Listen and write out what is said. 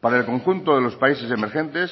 para el conjunto de los países emergentes